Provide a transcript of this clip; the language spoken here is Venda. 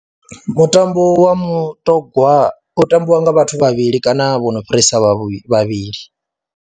Mutambo wa mutogwa u tambiwa nga vhathu vhavhili kana vho no fhirisa vhavhili.